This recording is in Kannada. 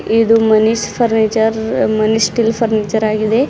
ಇದು Manish furniture Manish steel furniture ಆಗಿದೆ.